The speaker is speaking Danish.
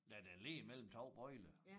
Ja den ligger mellem 2 bøjler